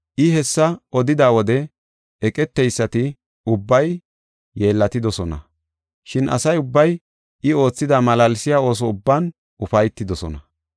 I hessa odida wode eqeteysati ubbay yeellatidosona. Shin asa ubbay I oothida malaalsiya ooso ubban ufaytidosona.